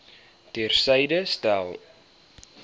ter syde stel